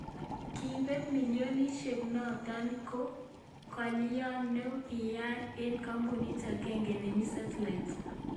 Kebeet millionisyek noto ko ngalyo ne kiyaak eng kambunit agenge nemii Seattle